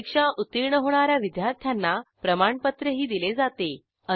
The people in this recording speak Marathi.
परीक्षा उत्तीर्ण होणा या विद्यार्थ्यांना प्रमाणपत्रही दिले जाते